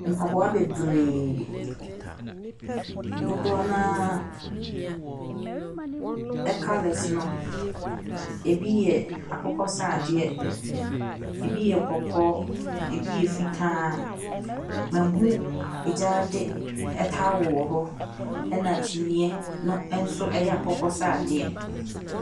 Mpaboa bebree. Dodoɔ no ara colours no, ɛbi yɛ akokɔsradeɛ, ɛbi yɛ kɔkɔɔ, ɛbi yɛ fitaa. Mahunu egyaade towel wɔ hɔ, ɛna kyiniiɛ no nso yɛ akokɔsradeɛ.